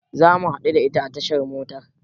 Zamu haɗu da ita a tashar motar.